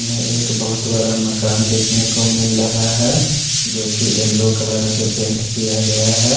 एक बहुत बड़ा मकान देखने को मिल रहा है जो की येलो कलर से पैंट किया गया है।